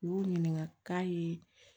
U y'u ɲininka k'a ye